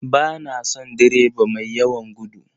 Ba na son direba mai yawan gudu.